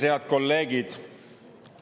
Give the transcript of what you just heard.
Head kolleegid!